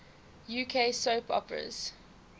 uk soap operas